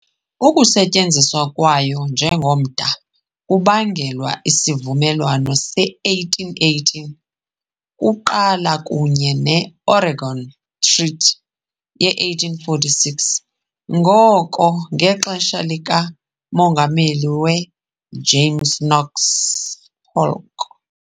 Ukusetyenziswa kwayo njengomda kubangelwa "iSivumelwano se-1818" kuqala kunye ne- "Oregon Treaty" ye -1846 ngoko, ngexesha likamongameli we-James Knox Polk.